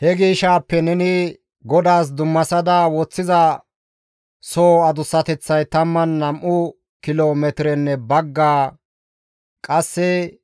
«He gishaappe neni GODAAS dummasada woththiza sohoy 12 kilo metirenne bagga adussinne